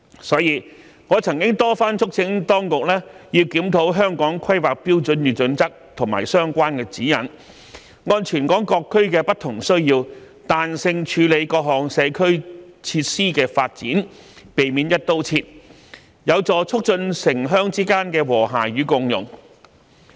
所以，我曾多番促請當局要檢討《香港規劃標準與準則》和相關指引，按全港各區的不同需要，彈性處理各項社區設施的發展，避免"一刀切"，有助促進城鄉之間的和諧與共融。